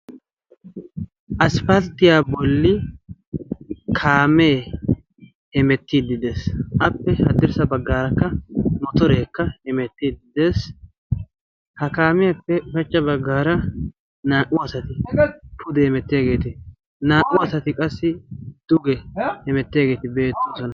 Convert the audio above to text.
asipalttiyaa bolli kaamee hemettiiddidees appe haddirssa baggaarakka motoreekka hemettiiddi dees. ha kaamiyaappe ushachcha baggaara naa77u asati pude hemettiyageeti naa77u asati qassi duge hemetteegeeti beettoosona.